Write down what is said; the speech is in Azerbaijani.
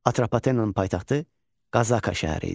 Atropatenanın paytaxtı Qazaka şəhəri idi.